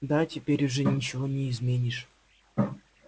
да теперь уже ничего не изменишь